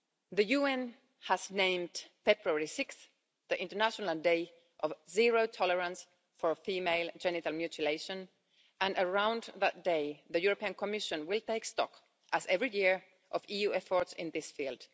The UN has named 6 February as the international day of zero tolerance for female genital mutilation, and around that day, the European Commission will take stock, as every year, of EU efforts in this field.